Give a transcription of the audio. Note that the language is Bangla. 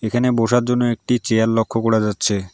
এখানে বসার জন্য একটি চেয়ার লক্ষ্য করা যাচ্ছে।